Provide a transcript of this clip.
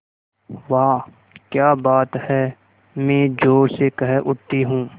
वाह क्या बात है मैं ज़ोर से कह उठती हूँ